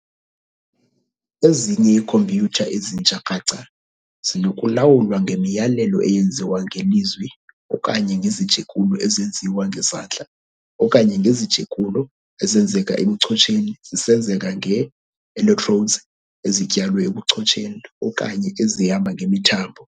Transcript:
Ezinye iikhompyutha ezintsha kraca zisenokulawulwa ngemiyalelo eyenziwa ngelizwi okanye ngezijekulo ezenziwa ngezandla okanye ngezijekulo ezenzeka ebuchotsheni zisenzeka ngee-electrodes ezityalwe ebuchotsheni okanye ezihamba ngemithambo.